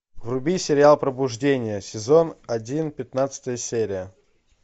вруби сериал пробуждение сезон один пятнадцатая серия